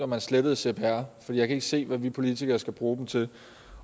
man slettede cpr for jeg kan ikke se hvad vi politikere skal bruge dem til